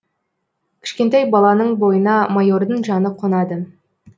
кішкентай баланың бойына майордың жаны қонады